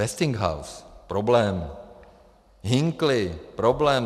Westinghouse - problém. Hinkley - problém.